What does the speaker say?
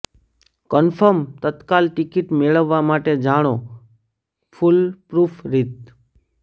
confirm Tatkal ticket મેળવવા માટે જાણો ફૂલપ્રૂફ રીત